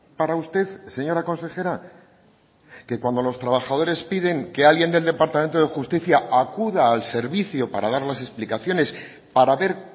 para usted señora consejera que cuando los trabajadores piden que alguien del departamento de justicia acuda al servicio para dar las explicaciones para ver